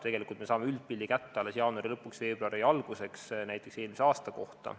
Tegelikult me saame üldpildi kätte alles jaanuari lõpuks või veebruari alguseks näiteks eelmise aasta kohta.